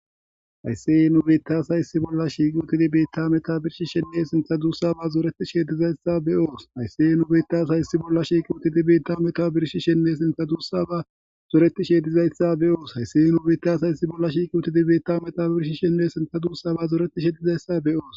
Hayssiye nu bitasay yssi bolla shiiqi utidi beitta meta birshi shenne sintha duussa ba zoreti sheedizayssa be7oos haysseye nubitasayssi bolla shiiqiwutidi beitta meta birshi shenne sinta duussa ba zoreti sheedizayssa be oos hayssi ye nu bitasayssi bolla shiiqiuotidi beitta meta birshi shenne sinta duussa ba zoretishedizayssa be7oos